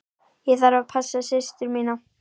Ég þarf að passa systur mína.